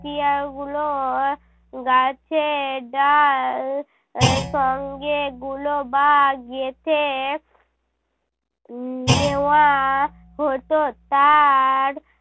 তিয়ার গুলো গাছের ডাল এর সঙ্গে গুলবা গেঁথে উহ নেওয়া হতো। তার